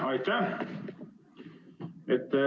Aitäh!